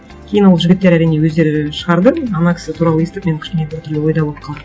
кейін ол жігіттер әрине өздері шығарды ана кісі туралы естіп мен кішкене бір түрлі ойда болып қалдым